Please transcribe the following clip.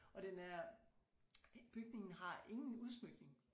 Og den er bygningen har ingen udsmykning